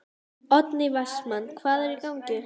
Oddný Vestmann: Hvað er í gangi?